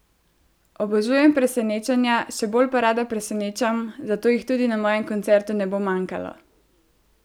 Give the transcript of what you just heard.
Obožujem presenečenja, še bolj pa rada presenečam, zato jih tudi na mojem koncertu ne bo manjkalo!